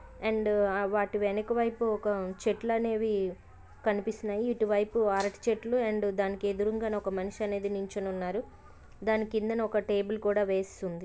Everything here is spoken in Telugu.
అండ్ వాటి వెనకవైపు ఒక చెట్లు అనేవి కనిపిస్తున్నాయి. ఇటువైపు అరటి చెట్లు అండ్ దానికి ఎదురుంగానే ఒక మనిషి అనేది నిల్చుని ఉన్నారు. దాని కిందనే ఒక టేబుల్ కూడా వేసి ఉంది.